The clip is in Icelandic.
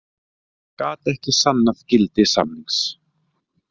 Gat ekki sannað gildi samnings